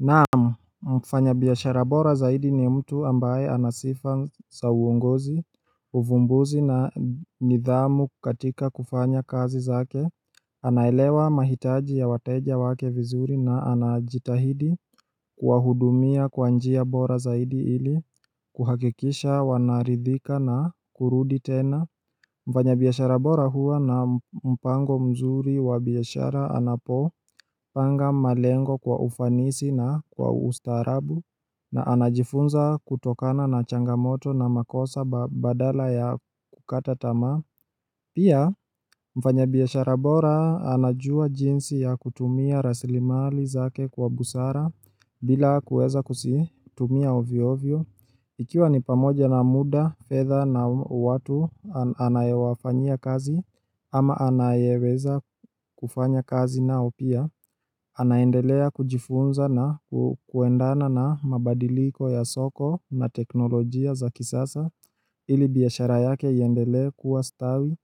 Na'am, mfanyabiashara bora zaidi ni mtu ambaye ana sifa za uongozi, uvumbuzi na nidhamu katika kufanya kazi zake anaelewa mahitaji ya wateja wake vizuri na anajitahidi kuwahudumia kwa njia bora zaidi ili kuhakikisha wanaridhika na kurudi tena Mfanyabiashara bora huwa na mpango mzuri wa biashara anapopanga malengo kwa ufanisi na kwa ustaarabu na anajifunza kutokana na changamoto na makosa badala ya kukata tamaa. Pia mfanyabiashara bora anajua jinsi ya kutumia raslimali zake kwa busara bila kuweza kuzitumia ovyoovyo Ikiwa ni pamoja na muda, fedha na watu anayewafanyia kazi ama anayeweza kufanya kazi nao pia Anaendelea kujifunza na kuendana na mabadiliko ya soko na teknolojia za kisasa ili biashara yake iendelee kuwa stawi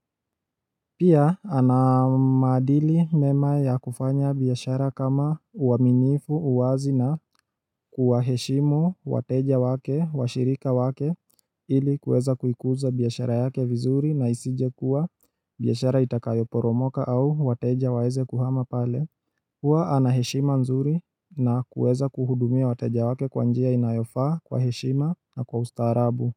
Pia ana maadili mema ya kufanya biashara kama uaminifu, uwazi na kuwaheshimu wateja wake, washirika wake ili kuweza kuikuza biashara yake vizuri na isijekuwa biashara itakayoporomoka au wateja waweze kuhama pale Hua ana heshima nzuri na kuweza kuhudumia wateja wake kwa njia inayofaa kwa heshima na kwa ustaarabu.